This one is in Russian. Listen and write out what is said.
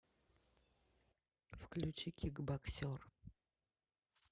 включи кик боксер